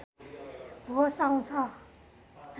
होस आउँछ